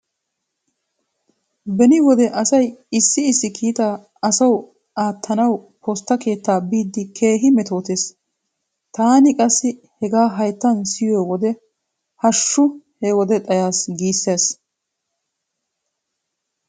Beni wode asay issi issi kiita asawu aattanawu postta keettaa biiddi keehi metootees. Taani qassi hegaa hayttan siyo wode hashshu he wode xayaas giissees.